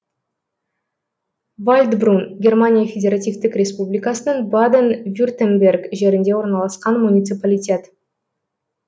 вальдбрун германия федеративтік республикасының баден вюртемберг жерінде орналасқан муниципалитет